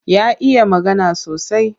Ya iya magana sosai.